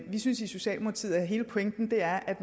vi synes i socialdemokratiet at hele pointen er at